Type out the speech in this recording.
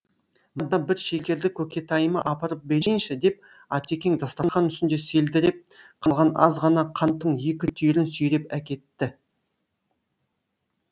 мына бір шекерді көкетайыма апарып берейінші деп атекең дастарқан үстінде селдіреп қалған аз ғана қанттың екі түйірін сүйреп әкетті